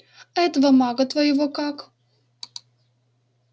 а этого мага твоего как